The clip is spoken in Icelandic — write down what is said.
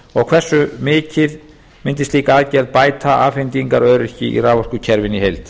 og hversu mikið mundi slík aðgerð bæta afhendingaröryggi í raforkukerfinu í heild